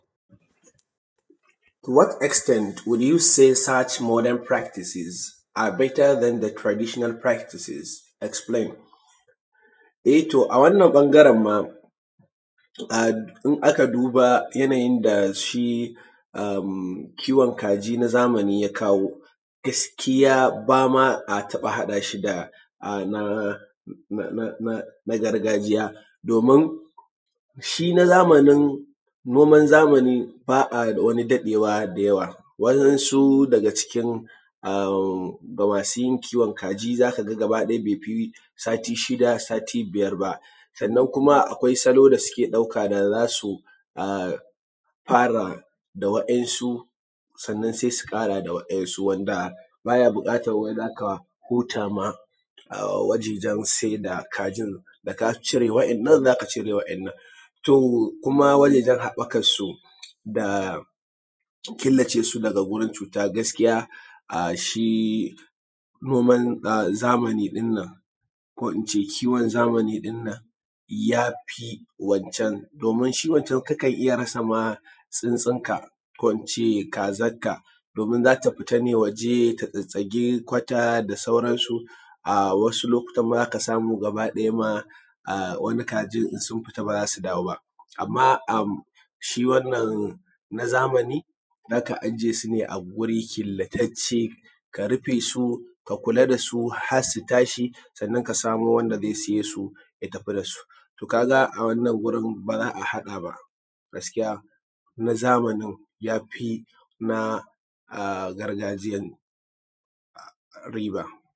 To what extended will you said search modern practices are better than the traditional practices explain. E to a wannan ɓangaran ma in aka duba yanayin da shi kiwon kaji na zamani ya kawo, gaskiya bama a taɓa haɗa shi da na gargajiya, domin shi na zamani, noman zamani ba a wani daɗewa da yawa. Wa’insu daga cikin masu yin kiwon kaji za ka ga gaba ɗaya baifi sati shida, ko sati biyar ba. Sannan kuma akwai salo da suke ɗauka na za su fara da wa'insu sannan sai su ƙara da wa'insu, wanda baya buƙatan wai za ka huta ma wajejan sai da kajin, da ka cire wa'inan za ka cire wa'inan. To kuma wajejan haɓɓakan su da kilace su daga wurin cuta gaskiya a shi noman zamani ɗin nan ko in ce kiwon zamani ɗin nan yafi wancan domin shi wancan kakan rasa ma tsuntsunka, ko in ce kazan ka domin za ta fita ne waje ta tsitsige kwata da sauransu, wasu lokutan ma za ka samu gaba ɗaya ma wani kajin in su fita ma ba za su dawo ba. Amma shi wannan na zamanin za ka aje su ne a guri killattacce ka rufe su, ka kula da su har su tashi sannan ka samo wanda zai siye su ya tafi da su. To ka ga a wannan gurin ba za a haɗa ba. Gaskiya na zamani ya fi na gargajiyan riba.